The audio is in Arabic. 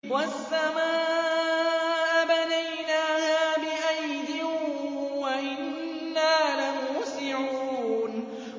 وَالسَّمَاءَ بَنَيْنَاهَا بِأَيْدٍ وَإِنَّا لَمُوسِعُونَ